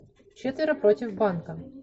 четверо против банка